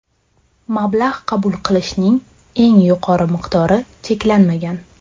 Mablag‘ qabul qilishning eng yuqori miqdori cheklanmagan.